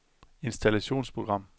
installationsprogram